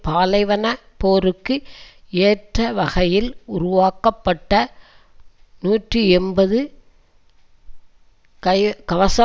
பாலைவன போருக்கு ஏற்ற வகையில் உருவாக்கப்பட்ட நூற்றி எம்பது கைகவச